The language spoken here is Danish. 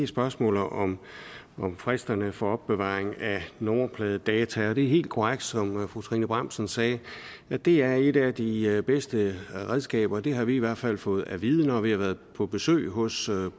spørgsmålet om om fristerne for opbevaring af nummerpladedata og det er helt korrekt som fru trine bramsen sagde at det er et af de bedste redskaber det har vi i hvert fald fået at vide når vi har været på besøg hos